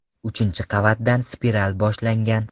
Uchinchi qavatdan spiral boshlangan.